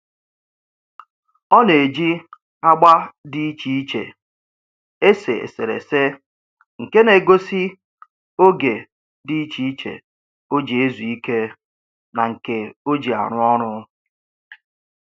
Ọ na-eji agba dị iche iche ese eserese nke na-egosi oge dị iche iche o ji ezu ike na nke o ji arụ ọrụ